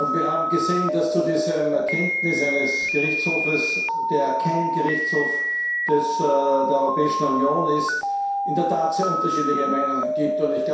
Wir haben gesehen, dass es zu dieser Erkenntnis eines Gerichtshofs, der kein Gerichtshof der Europäischen Union ist, in der Tat sehr unterschiedliche Meinungen gibt.